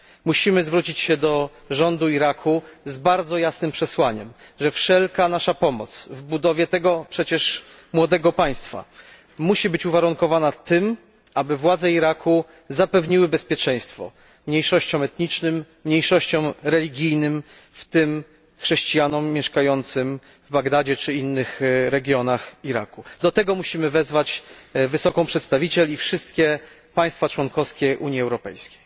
Musimy zwrócić się do rządu Iraku z bardzo jasnym przesłaniem, że wszelka nasza pomoc w budowie tego przecież młodego państwa musi być uwarunkowana tym, aby władze Iraku zapewniły bezpieczeństwo mniejszościom etnicznym, mniejszościom religijnym, w tym chrześcijanom mieszkającym w Bagdadzie czy innych regionach Iraku. Do tego musimy wezwać wysoką przedstawiciel i wszystkie państwa członkowskie Unii Europejskiej.